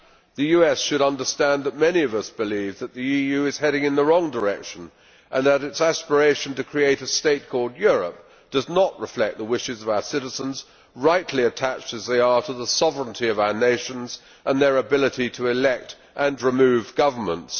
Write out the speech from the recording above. The US should understand that many of us believe that the EU is heading in the wrong direction and that its aspiration to create a state called Europe does not reflect the wishes of our citizens, rightly attached as they are to the sovereignty of our nations and their ability to elect and remove governments.